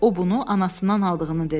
O bunu anasından aldığını dedi.